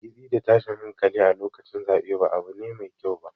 Hargitsi da tashin hankali a lokacin zaɓe ba abu ne mai kyau ba.